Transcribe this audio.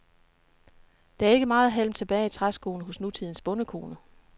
Der er ikke meget halm tilbage i træskoene hos nutidens bondekone.